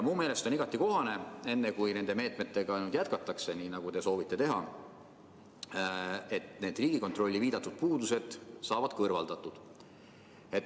Mu meelest on igati kohane, et enne kui nende meetmetega nüüd jätkatakse, nii nagu te soovite teha, need Riigikontrolli viidatud puudused saavad kõrvaldatud.